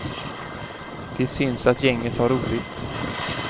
Det syns att gänget har roligt.